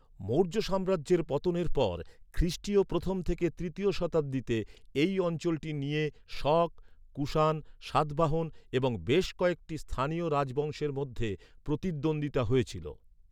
মৌর্য সাম্রাজ্যের পতনের পর খ্রিষ্টীয় প্রথম থেকে তৃতীয় শতাব্দীতে, এই অঞ্চলটি নিয়ে শক, কুষাণ, সাতবাহন এবং বেশ কয়েকটি স্থানীয় রাজবংশের মধ্যে প্রতিদ্বন্দ্বিতা হয়েছিল।